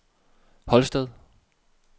Holsted